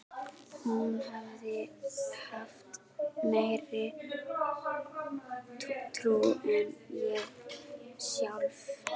Hún hafði haft meiri trú en ég sjálf.